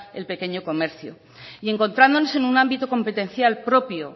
el pequeño comercio y encontrándonos en un ámbito competencial propio